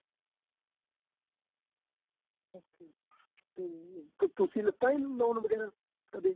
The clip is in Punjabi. ਤੁਸੀਂ ਲਿੱਤਾਂ ਜੀ loan ਵਗੇਰਾ ਕਦੇਂ